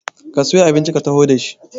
ka siyo abinci a taho da shi!